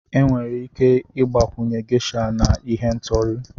Enwere ike ịgbakwunye Gesha na ihendori.